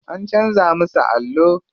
An canza musu allo.